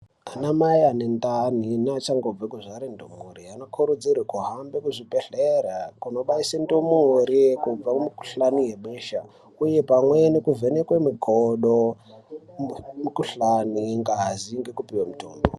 Anamai ane ndani neachangobve kubare ndumure anokurudzirwa kuhambe muzvibhedhlera kunobaise ndumure kubva mumikhuhlani yebesha. Uye pamwe nekuvhenekwe makodo, mikhulani, ngazi ngekupiwe mitombo.